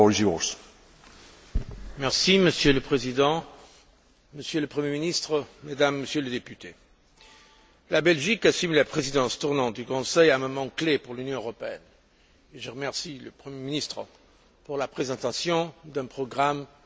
Monsieur le Président, Monsieur le Premier ministre, Mesdames et Messieurs les députés, la Belgique assume la présidence tournante du Conseil à un moment clé pour l'Union européenne, et je remercie le premier ministre pour la présentation d'un programme si clair et si ambitieux.